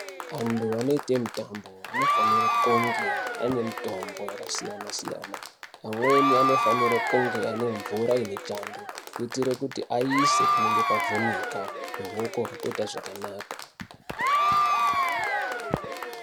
Antu anoita mitambo anofanira kunge ane mitombo yakasiyana siyana amweni anofanira kunge ane mvura ine chando kuitira kuti aise panenge pavhinika ruoko rotoita zvakanaka.